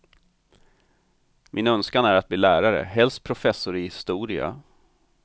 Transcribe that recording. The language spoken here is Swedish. Min önskan är att bli lärare, helst professor i historia.